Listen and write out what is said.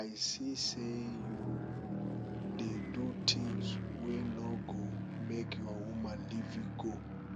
i see sey you dey do tins wey no go make your woman leave you go